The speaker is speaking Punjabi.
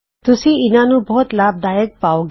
ਤੁਸੀਂ ਇਹਨਾ ਨੂੰ ਬਹੁਤ ਲਾਭਦਾਇਕ ਪਾਓਂਗੇ